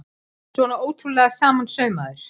Svona ótrúlega samansaumaður!